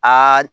Aa